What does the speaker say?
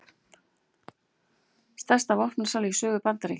Stærsta vopnasala í sögu Bandaríkjanna